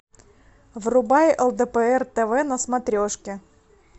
врубай лдпр тв на смотрешке